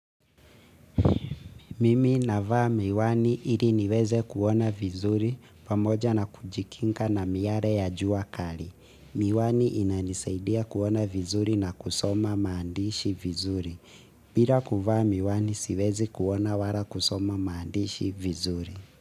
Mimi navaa miwani ili niweze kuona vizuri pamoja na kujikinga na miare ya jua kali. Miwani inanisaidia kuona vizuri na kusoma maandishi vizuri. Bila kuvaa miwani siwezi kuona wala kusoma maandishi vizuri.